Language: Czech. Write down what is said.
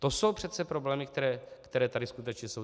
To jsou přece problémy, které tady skutečně jsou.